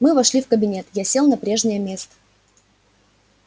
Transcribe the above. мы вошли в кабинет я сел на прежнее место